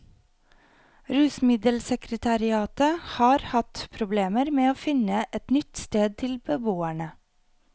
Rusmiddelsekretariatet har hatt problemer med å finne et nytt sted til beboerne.